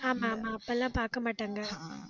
ஆமா, ஆமா, அப்ப எல்லாம் பாக்க மாட்டாங்க